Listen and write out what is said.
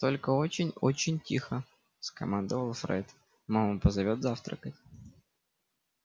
только очень очень тихо скомандовал фред мама позовёт завтракать